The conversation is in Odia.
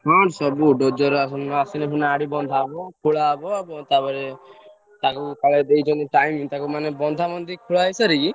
ହଁ ସବୁ ଆସିଲେ ସିନା ଆଡୁ ବନ୍ଧା ହବ ଖୋଲାହବ, ଆଉ ତାପରେ ତାକୁ ତାକୁ ଦେଇଛନ୍ତି time ତାକୁ ମାନେ ବନ୍ଧା ବାନ୍ଧି କରି ଖୋଳାଖୋଳି କରି ସାରି।